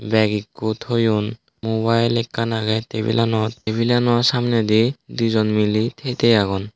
bag ekko thoyun mobile ekkan agey tebilanot tebilaano samnedi di jon miley they they agon.